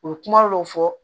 U ye kuma dɔ fɔ